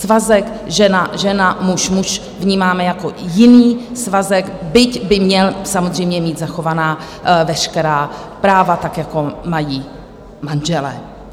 Svazek žena - žena, muž - muž vnímáme jako jiný svazek, byť by měl samozřejmě mít zachovaná veškerá práva, tak jako mají manželé.